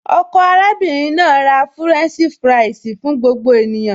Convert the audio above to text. Ọkọ arábìnrin náà ra fúrẹ́ǹṣì fúráìsì fún gbogbo ènìyàn